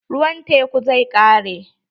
Ruwan tekun zai ƙare.